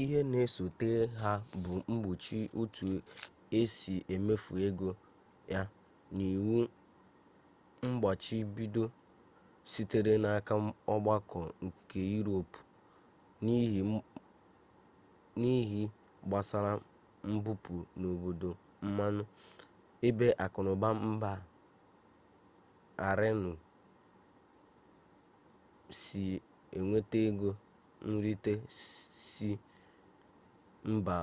ihe na-esote ha bụ mgbochi otu esi emefu ego ya na iwu mmgbachibido sitere n'aka ọgbakọ nke iroopu n'ihe gbasara mbupu n'obodo mmanụ ebe akụnụba mba aịranụ si enweta ego nrite si mba